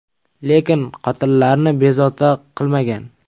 Lekin qotillarni bezovta qilmagan.